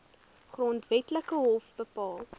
grondwetlike hof bepaal